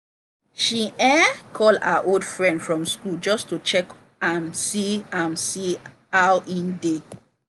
she um call her old friend from school just to check am see am see how e dey.